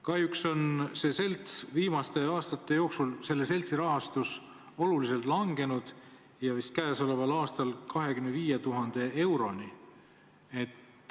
Kahjuks on selle seltsi rahastus viimaste aastate jooksul oluliselt langenud, käesoleval aastal vist 25 000 euroni.